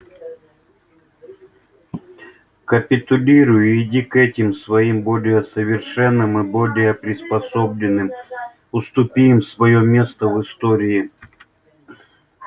капитулируй и иди к этим своим более совершенным и более приспособленным уступи им своё место в истории